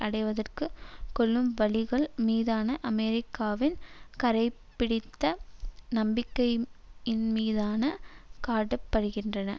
அடைவதற்குக் கொள்ளும் வழிகள் மீதான அமெரிக்காவின் கறைபடிந்த நம்பிக்கையீன்மிதான காட்ட படுகின்றன